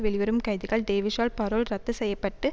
வெளிவரும் கைதிகள் டேவிஸால் பரோல் ரத்து செய்ய பட்டு